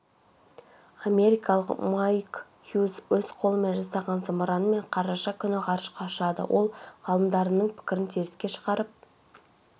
америкалық майк хьюз өз қолымен жасаған зымыранмен қараша күні ғарышқа ұшады ол ғалымдарының пікірін теріске шығарып